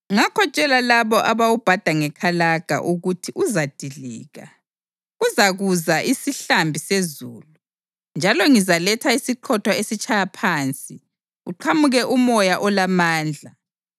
ngakho tshela labo abawubhada ngekalaga ukuthi uzadilika. Kuzakuza isihlambi sezulu, njalo ngizaletha isiqhotho esitshaya phansi, kuqhamuke umoya olamandla.